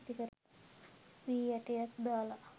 වී ඇටයක් දාල